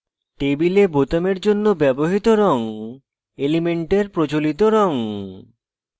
table বোতামের জন্য ব্যবহৃত রঙ elements প্রচলিত রঙ